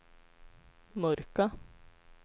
mörka